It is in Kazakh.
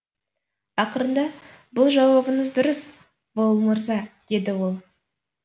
ақырында бұл жауабыңыз дұрыс воул мырза деді ол